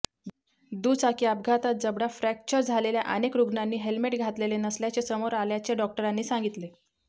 दुचाकी अपघातात जबडा फॅ्रक्चर झालेल्या अनेक रुग्णांनी हेल्मेट घातलेले नसल्याचे समोर आल्याचे डॉक्टरांनी सांगितले